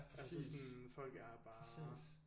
Altså sådan folk er bare